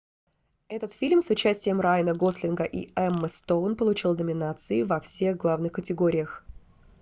этот фильм с участием райана гослинга и эммы стоун получил номинации во всех главных категориях